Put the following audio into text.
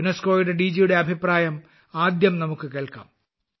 യുനെസ്കോയുടെ ഡിജിയുടെ അഭിപ്രായം നമുക്ക് ആദ്യം കേൾക്കാം